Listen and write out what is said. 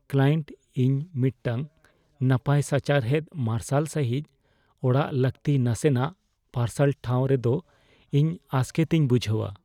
Client "ᱤᱧ ᱢᱤᱫᱴᱟᱝ ᱱᱟᱯᱟᱭ ᱥᱟᱪᱟᱨᱦᱮᱫ ᱢᱟᱨᱥᱟᱞ ᱥᱟᱹᱦᱤᱡ ᱚᱲᱟᱜ ᱞᱟᱹᱠᱛᱤ; ᱱᱟᱥᱮᱱᱟᱜ ᱯᱟᱨᱥᱟᱞ ᱴᱷᱟᱣ ᱨᱮᱫᱚ ᱤᱧ ᱟᱥᱠᱮᱛ ᱤᱧ ᱵᱩᱡᱷᱟᱹᱣᱟ ᱾"